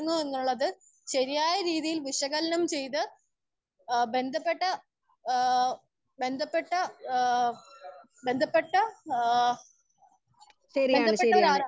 Speaker 1 എന്നുള്ളത് ശരിയായ രീതിയിൽ വിശകലനം ചെയ്തു അ ബദ്ധപ്പെട്ട അ ബന്ധപ്പെട്ട ആ ബന്ധപ്പെട്ട ആ ബന്ധപ്പെട്ട ഒരാളാണ്.